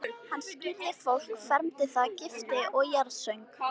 Hann skírði fólk, fermdi það, gifti og jarðsöng.